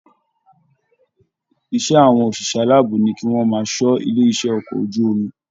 Iṣẹ àwọn oṣiṣẹ aláàbò ní kí wọn máa ṣọ ilé iṣẹ okọ̀ ojú omi.